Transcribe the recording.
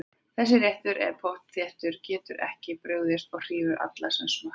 Þessi réttur er pottþéttur, getur ekki brugðist og hrífur alla sem smakka hann.